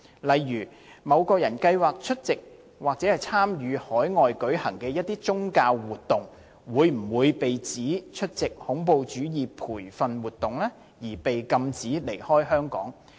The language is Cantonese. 例如某人計劃出席或參與海外舉行的一些宗教活動，會否被指出席恐怖主義培訓活動，而被禁止離開香港？